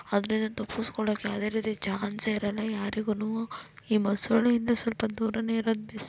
ಅದ್ರಿಂದ ತಪ್ಪುಸ್ಕೊಳ್ಳೋಕೆ ಯಾವದೇ ರೀತಿ ಚಾನ್ಸೆ ಇರೋಲ್ಲ ಯಾರಿಗುನು ಈ ಮೊಸುಳೆ ಇಂದ ಸ್ವಲ್ಪ ದೂರಾನೇ ಈರೋದ್ ಬೆಸ್ಟ್ --.